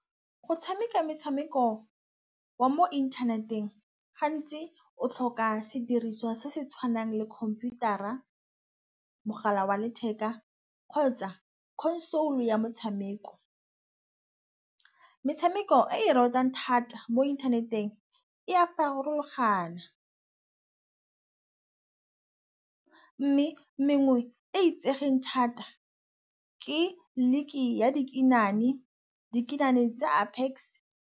Go tšhameka metšhameko wa mo inthaneteng gantsi o tlhoka sediriswa se se tšhwanang le khomputara, mogala wa letheka kgotsa console ya motšhameko. Metšhameko e ratang thata mo inthaneteng e a farologana, mme mengwe e e itsegeng thata ke league ya dikinane. Dikinane tsa Apex.